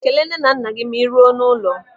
Kelee nne na nna gị ma ị ruo n'ụlọ.